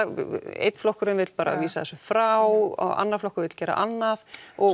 einn flokkurinn vill vísa þessu frá annar flokkur vill annað